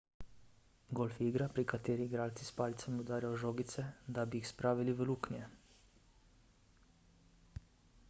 golf je igra pri kateri igralci s palicami udarjajo žogice da bi jih spravili v luknje